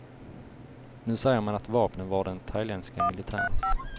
Nu säger man att vapnen var den thailändska militärens.